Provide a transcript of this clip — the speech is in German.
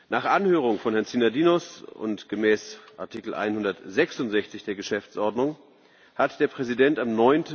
Nach Anhörung von Herrn Synadinos und gemäß Artikel 166 der Geschäftsordnung hat der Präsident am